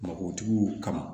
Mabɔtigiw kama